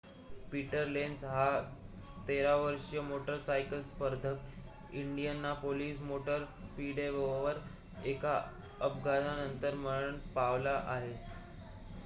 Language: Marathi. पीटर लेन्झ हा 13-वर्षीय मोटरसायकल स्पर्धक इंडियानापोलिस मोटर स्पीडवेवर एका अपघातानंतर मरण पावला आहे